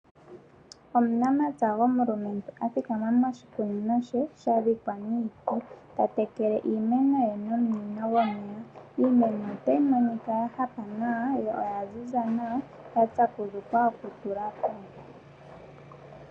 Omunamapya gomulumentu athikama moshikunino she ta tekele iimeno ye nominino dhomeya. Iimeno otayi monika ya hapa nawa yo oya ziza nawa, ya tsakudhukwa oku tulako.